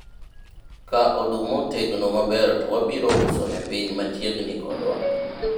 ka oduma otegno maber to wabiro uso ne piny machiegni kodwa